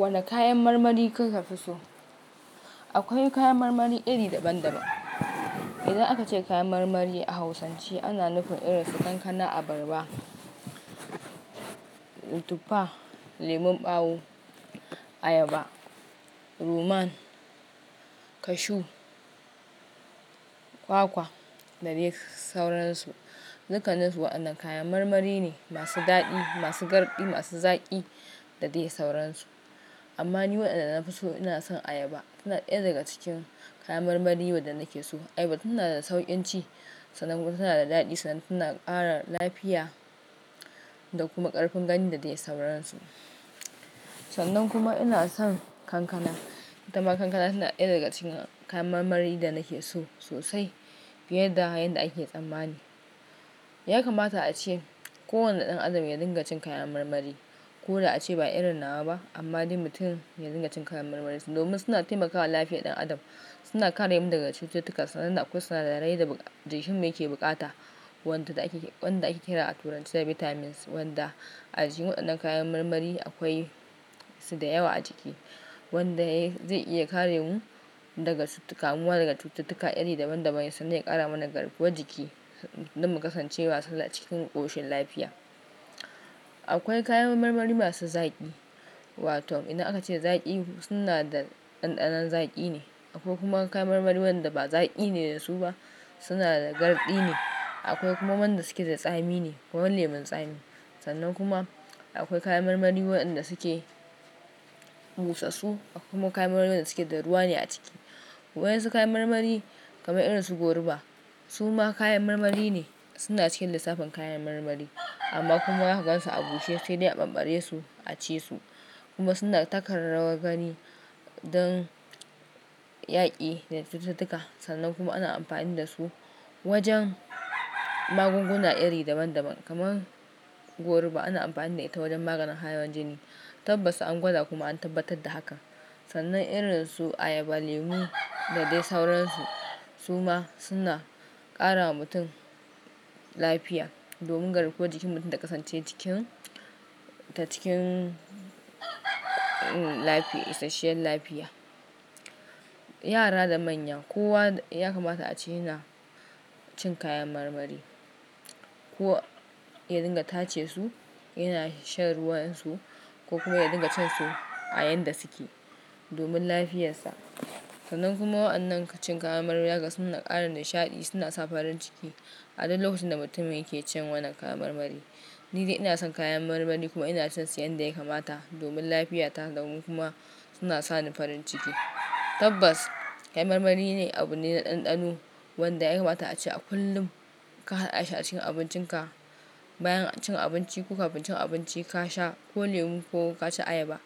Wane kayan marmari kika fi so? Akwai kayan marmari iri daban-daban. Idan aka ce kayan marmari a hausance ana nufin irin su kankana, abarba, tutfa, lemon ɓawo, ayaba, ruman, kashu, kwakwa da dai sauransu. Dukkan su waɗannan kayan marmari ne masu daɗi, masu garɗi, masu zaƙi da dai sauransu. Amma ni waɗanda na fi so ina son ayaba. Tana ɗaya daga cikin kayan marmari waɗanda nake so. Ayaba tana da sauƙin ci, sannan kuma tana da daɗi, sannan tana ƙara lafiya da kuma ƙarfin gani da dai sauransu. Sannan kuma ina son kankana. Itama kankana tana ɗaya daga cikin kayan marmari da nake so sosai. Fiye da hayan da ake tsammani. Ya kamata ace kowane ɗan adam ya dinga cin kayan marmari. Ko da ace ba irin nawa ba amma duk mutum ya dinga cin kayan marmari domin suna taimakawa lafiyar ɗan adam. Suna kare mu daga cututtuka sannan da kuma suna da rai da jikinmu yake bukata wanda ake kira a turanci da vitamins wanda a jikin waɗannan kayan marmari akwai su da yawa a ciki wanda zai iya kare mu daga kamuwa daga cututtuka iri daban-daban sannan ya ƙara mana ƙarfuwa jiki don mu kasance masu cikin ƙoshin lafiya. Akwai kayan marmari masu zaƙi. Wato idan aka ce zaƙi, suna da ɗanɗanon zaƙi ne. Akwai kuma kayan marmari waɗanda ba zaƙi ne da su ba, suna da garɗi ne. Akwai kuma waɗanda suke da tsami ne kamar lemun tsami. Sannan kuma akwai kayan marmari waɗanda suke busassu. Akwai kuma kayan marmari waɗanda suke da ruwa ne a ciki. Waɗansu kayan marmari kamar irin su goruba su ma kayan marmari ne. Suna cikin lissafin kayan marmari amma kuma aka gan su a bushe sai dai a ɓamɓare su a ci su kuma suna taka rawar gani don yaƙi da cututtuka. Sannan kuma ana amfani da su wajen magunguna iri daban-daban kamar goruba ana amfani da ita wajen maganin hawan jini. Tabbas an gwada kuma an tabbatar da haka. Sannan irin su ayaba, lemu da dai sauransu su ma suna ƙara wa mutum lafiya domin garkuwan jikin mutum ta ƙasance ta cikin lafiya, isasshiyar lafiya. Yara da manya kowa ya kamata ace yana cin kayan marmari. Ko ya dinga tace su, yana shan ruwan su ko kuma ya dinga cin su a yanda suke domin lafiyarsa. Sannan kuma waɗannan cin kayan marmari ya kasu suna ƙara nishaɗi, suna sa farin ciki a duk lokacin da mutum yake cin wannan kayan marmari. Ni dai ina son kayan marmari kuma ina cin su yanda ya kamata domin lafiyata domin kuma suna sa ni farin ciki. Tabbas kayan marmari ne abun ne na ɗanɗano wanda ya kamata ace a kullum ka hada shi a cikin abincinka. Bayan cin abinci ko kafin cin abinci ka sha ko lemu ko ka ci ayaba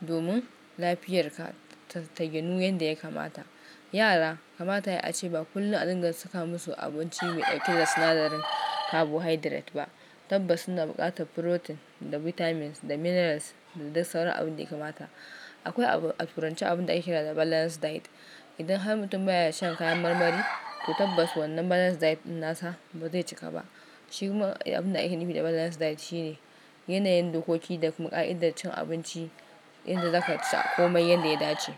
domin lafiyarka ta ta ginu yadda ya kamata. Yara kamata ya a ce ba kullum a dinga saka musu abinci me dauke da sinadarin carbonhydrate ba. Tabbas suna buƙatar protein da vitamins da minerals da dai sauran abin da ya kamata. Akwai a turanci abun da ake kira da balanced diet. Idan har mutum baya shan kayan marmari ko tabbas wannan balanced diet ɗin nasa ba zai cika ba. Shi kuma abin da ake nufi da balanced diet shine yanayin dokoki da kuma ƙa'idar cin abinci inda zaka ci komai yanda ya dace.